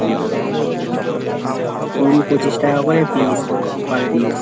কুড়ি পঁচিশ টাকা করে piece per piece